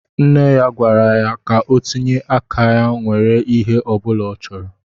Nne ya gwara ya ka o tinye áká nwèrè ihé ọbula ọ chọrọ